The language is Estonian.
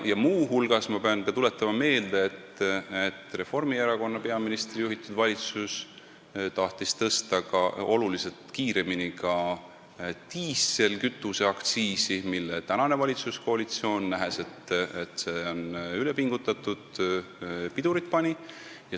Muu hulgas ma pean ka tuletama meelde, et Reformierakonna peaministri juhitud valitsus tahtis oluliselt kiiremini tõsta ka diislikütuse aktsiisi, millele tänane valitsuskoalitsioon, nähes, et sellega on üle pingutatud, pidurit pani.